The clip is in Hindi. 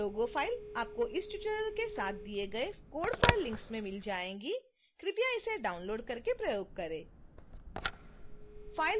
यह लोगो फाइल आपको इस ट्यूटोरियल के साथ दिए गए code files लिंक में मिल जाएगी